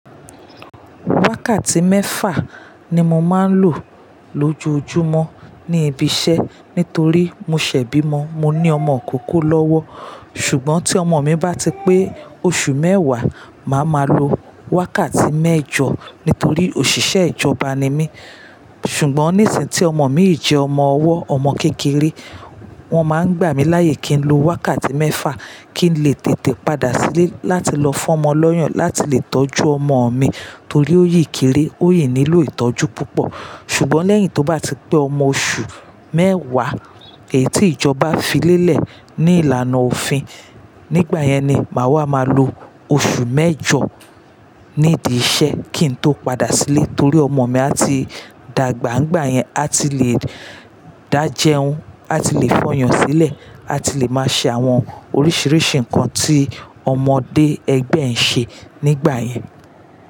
Wákàtí mẹ́fà ni mo máa ń lò lójojúmọ́ ní ibi iṣẹ́ nítorí mo ṣè bímo, mo ní ọmọ ìkókó lọ́wọ́. Ṣùgbọ́n tí ọmọ mi bá ti pé oṣù mẹ́wàá, màá ma lo wákàtí mẹ́jọ nítorí òṣìṣẹ́ ìjọba ni mí. Ṣùgbọ́n níìsín tí ọmọ mi yi jẹ́ ọmọ ọwọ́, ọmọ kékeré, wọ́n máa ń gbà mí láyè kí n lo wákàtí mẹ́fà kí n lè tètè padà sílé láti lọ fún ọmọ lọ́yàn, láti lè tọ́jú ọmọ mi torí ó yí kiri, ó yí nílò ìtọ́jú púpọ̀. Ṣùgbọ́n lẹ́yìn tó bá ti pé ọmọ oṣù mẹ́wàá, èyí tí ìjọba fi lélẹ̀ ní ìlànà òfin, nígbà yẹn ni màá ma lo oṣù mẹ́jọ nídi iṣẹ́ kí n tó padà sílé torí ọmọ mi a ti dàgbà. Nigbà yẹn a ti le dá jẹun, a ti le fọyàn sílẹ̀, a ti le máa ṣe àwọn oríṣiríṣi nǹkan tí ọmọdé ẹgbẹ́ ń ṣe nígbà yẹn.